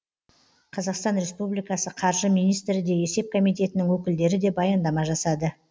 қазақстан республикасы қаржы министрі де есеп комитетінің өкілдері де баяндама жасады